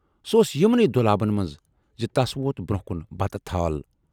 "سُہ اوس یِمنٕے دۅلابن منز زِ تَس ووت برونہہ کُن بتہٕ تھال۔